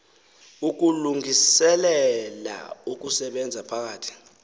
ukulungiselela ukusebenza phakathi